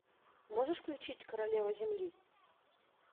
можешь включить королева земли